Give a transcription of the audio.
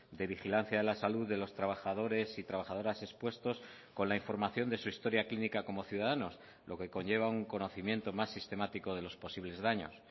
de vigilancia de la salud de los trabajadores y trabajadoras expuestos con la información de su historia clínica como ciudadanos lo que conlleva un conocimiento más sistemático de los posibles daños